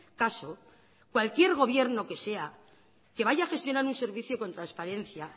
caso cualquier gobierno que sea que vaya a gestionar un servicio con transparencia